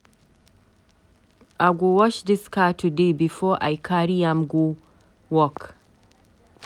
I go wash dis car today before I carry am go work.